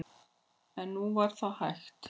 En nú var það hætt.